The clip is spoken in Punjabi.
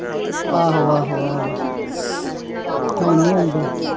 ਆਹੋ ਆਹੋ ਆਹੋ ਹੁਣ ਨੀ ਆਉਂਦੇ।